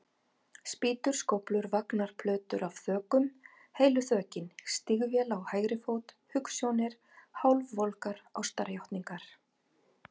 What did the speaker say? Spýtur, skóflur, vagnar, plötur af þökum, heilu þökin, stígvél á hægri fót, hugsjónir, hálfvolgar ástarjátningar.